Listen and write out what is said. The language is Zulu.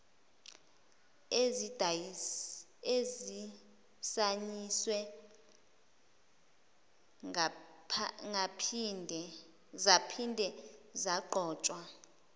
ezisayiniwe zaphinde zagqotshwa